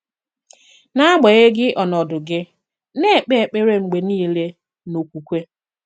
N’agbanyeghị̀ ọ̀nọ̀dụ gị̀, na-èkpè èkpèrè mgbe niile n’okwùkwè.